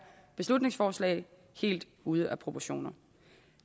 beslutningsforslag helt ude af proportioner